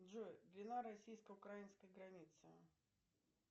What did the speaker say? джой длина российско украинской границы